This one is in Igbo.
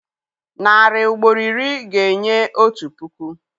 Narị ugboro iri ga-enye otu puku.